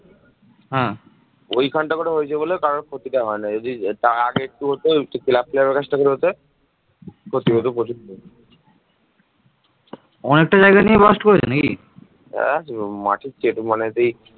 এই যুগে বাংলা সমগ্র উত্তর ভারত জুড়ে সাম্রাজ্য বিস্তার করতে সক্ষম হয়